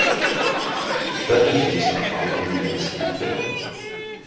Hvernig finnst að tala um meiðsli í fjölmiðlum?